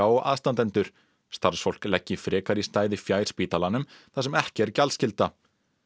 og aðstandendur starfsfólk leggi frekar í stæði fjær spítalanum þar sem ekki er gjaldskylda